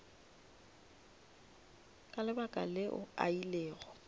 ka lebaka leo a ilego